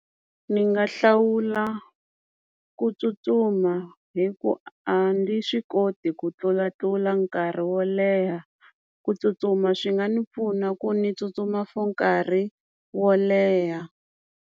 Ni nga hlawula ku tsutsuma hi ku a ni swi koti ku tlulatlula nkarhi wo leha ku tsutsuma swi nga ni pfuna ku ni tsutsuma for nkarhi wo leha.